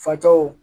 Facɔw